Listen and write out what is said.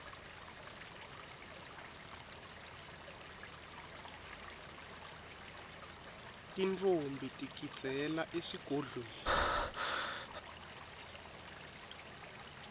tintfombi tigidzela esigodlweni